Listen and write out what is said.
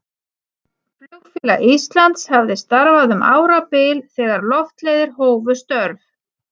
Flugfélag Íslands hafði starfað um árabil þegar Loftleiðir hófu störf.